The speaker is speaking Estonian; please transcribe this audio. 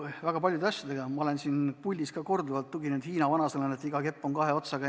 Väga paljude asjade puhul ma olen siin puldis tuginenud Hiina vanasõnale, et iga kepp on kahe otsaga.